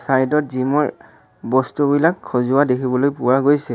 Side ত gym ৰ বস্তুবিলাক সজোৱা দেখিবলৈ পোৱা গৈছে।